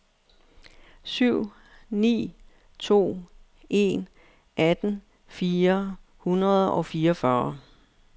syv ni to en atten fire hundrede og fireogfyrre